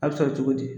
A bɛ sɔrɔ cogo di